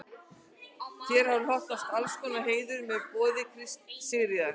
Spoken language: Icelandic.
Þér hefur hlotnast allnokkur heiður með boði Sigríðar